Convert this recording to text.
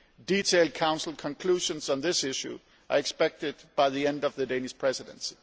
Detailed Council conclusions on this issue are expected by the end of the Danish Presidency.